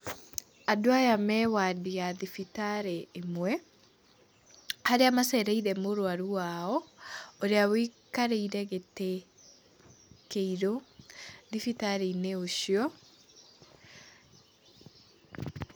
Andũ aya me wandi ya thibitarĩ ĩmwe harĩa macereire mũrwaru wao ũrĩa wĩikarĩre gĩtĩ kĩirũ thibitarĩinĩ ũcio.